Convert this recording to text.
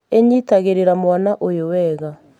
ĩnyitagĩrĩra mwana ũyũ wega